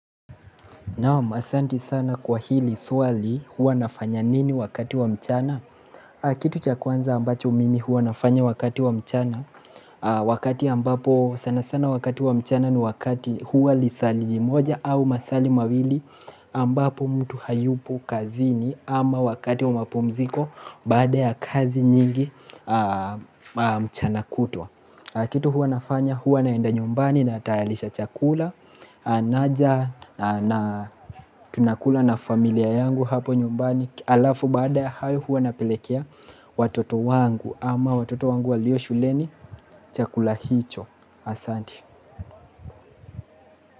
Naam asanti sana kwa hili swali huwa nafanya nini wakati wa mchana Kitu cha kwanza ambacho mimi huwa nafanya wakati wa mchana Wakati ambapo sana sana wakati wa mchana ni wakati huwa lisali moja au masali mawili ambapo mtu hayupo kazini ama wakati wa mapumziko baada ya kazi nyingi mchana kutwa Kitu huwa nafanya huwa naenda nyumbani na tayarisha chakula naja na tunakula na familia yangu hapo nyumbani Alafu baada ya hayo huwa napelekea watoto wangu ama watoto wangu walio shuleni chakula hicho Asante.